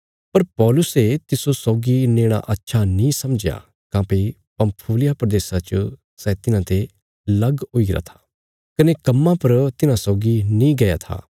पर पौलुसे तिस्सो सौगी नेणा अच्छा नीं समझया काँह्भई पंफूलिया प्रदेशा च सै तिन्हांते लग हुईगरा था कने कम्मा पर तिन्हां सौगी नीं गया था